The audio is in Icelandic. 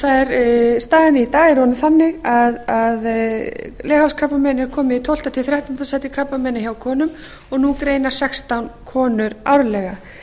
konum og staðan í dag er orðin þannig að leghálskrabbamein er komið í tólfta til þrettánda sæti krabbameina hjá konum og nú greinast sextán konur árlega